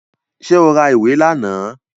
Ṣé o ra ìwé lánàá?